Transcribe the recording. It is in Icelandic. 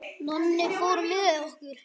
Nonni fór með okkur.